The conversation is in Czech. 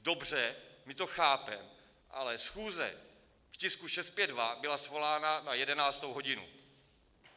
Dobře, my to chápeme, ale schůze k tisku 652 byla svolána na 11. hodinu.